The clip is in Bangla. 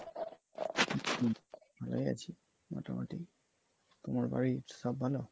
এই আছে মোটামোটি, তোমার বাড়ির সব ভালো?